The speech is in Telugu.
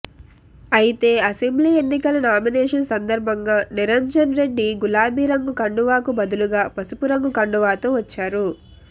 అయితే అసెంబ్లీ ఎన్నికల నామినేషన్ సందర్భంగా నిరంజన్ రెడ్డి గులాబీ రంగు కండువాకు బదులుగా పసుపు రంగు కండువాతో వచ్చారు